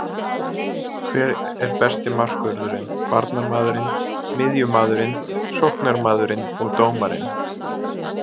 Hver er besti markvörðurinn, varnarmaðurinn, miðjumaðurinn, sóknarmaðurinn og dómarinn?